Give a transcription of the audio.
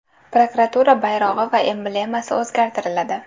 Prokuratura bayrog‘i va emblemasi o‘zgartiriladi.